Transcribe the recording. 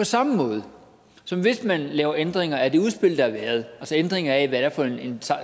samme måde som hvis man laver ændringer af det udspil der altså ændringer af hvad det er for en